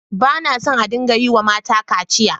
Ba na so a dinga yiwa mata kaciya.